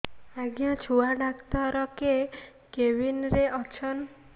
ଆଜ୍ଞା ଛୁଆ ଡାକ୍ତର କେ କେବିନ୍ ରେ ଅଛନ୍